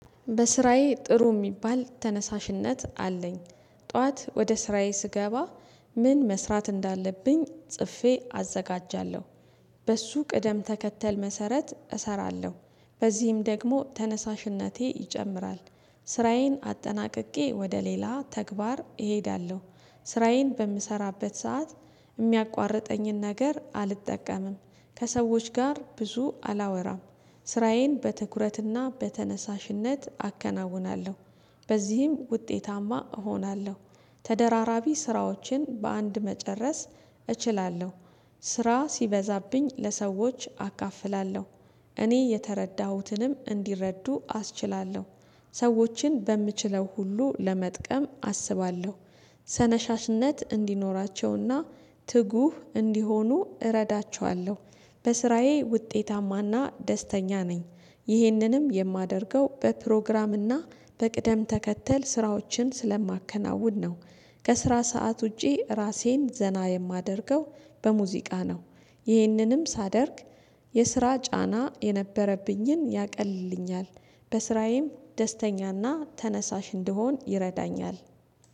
በስራዬ ጥሩ የሚባል ተነሳሽነት አለኝ። ጠዋት ወደ ስራዬ ስገባ ምን መስራት እንዳለብኝ ጽፌ አዘጋጃለሁ። በሱ ቅደም ተከተል መሰረት እሰራለሁ በዚህም ደግሞ ተነሳሽነቴ ይጨምራል። ስራዬን አጠናቅቄ ወደ ሌላ ተግባር እሄዳለሁ። ስራዬን በምሰራበት ሰዓት የሚያቋርጠኝን ነገር አልጠቀምም ከሰዎች ጋር ብዙ አላወራም። ስራዬን በትኩረትና በተነሳሽነት አከናውናለሁ በዚህም ውጤታማ እሆናለሁ። ተደራራቢ ስራዎችን በአንድ መጨረስ እችላለሁ። ስራ ሲበዛብኝ ለሰዎች አካፍላለሁ እኔ የተረዳሁትንም እንዲረዱ አስችላለሁ። ሰዎችን በምችለው ሁሉ ለመጥቀም አስባለሁ። ተነሻሽነት እንዲኖራቸውና ትጉህ እንዲሆኑ እረዳቸዋለሁ። በስራዬ ውጤታማና ደስተኛ ነኝ። ይህንንም የማደርገው በፕሮግራም እና በቅደም ተከተል ስራዎችን ስለማከናውን ነው። ከስራ ሰዓት ውጪ ራሴን ዘና የማደርገው በሙዚቃ ነው። ይህንንም ሳደርግ የስራ ጫና የነበረብኝን ያቀልልኛል። በስራዬም ደስተኛና ተነሳሽ እንደሆን ይረዳኛል